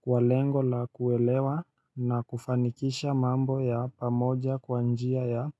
kwa lengo la kuelewa na kufanikisha mambo ya pamoja kwa njia ya